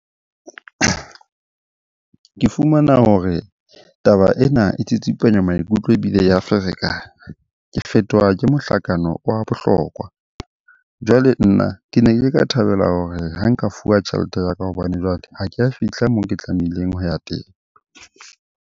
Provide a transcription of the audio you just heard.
Ke fumana hore taba ena e tsitsipanya maikutlo ebile ya ferekana. Ke fetoha ke mohlakano wa bohlokwa. Jwale nna ke ne ke ka thabela hore ha nka fuwa tjhelete ya ka hobane jwale ha ke a fihla moo ke tlamehileng ho ya teng.